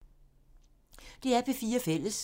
DR P4 Fælles